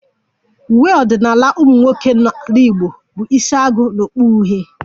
Uwe ọdịnala ụmụnwoke n'ala Igbo bụ isiagu na okpu uhie